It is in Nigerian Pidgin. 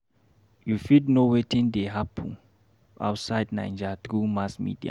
You fit know wetin dey happen outside Naija through mass media.